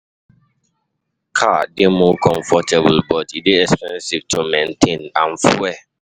Car dey more comfortable, but e dey expensive to maintain and fuel.